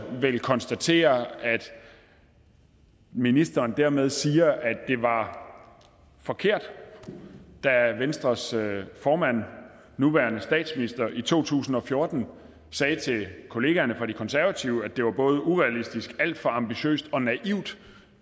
konstatere at ministeren dermed siger at det var forkert da venstres formand den nuværende statsminister i to tusind og fjorten sagde til kollegaerne fra de konservative at det var både urealistisk alt for ambitiøst og naivt